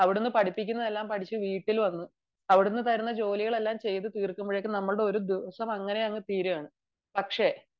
അവിടുന്ന് പഠിപ്പിക്കുന്നത് എല്ലാം പഠിച്ചു വീട്ടിൽ വന്നു അവിടുന്ന് തരുന്ന ജോലികൾ എല്ലാം ചെയ്തു തീർക്കുമ്പോഴേക്കും നമ്മുടെ ഒരുദിവസം അങ്ങനെ തീരുകയാണ്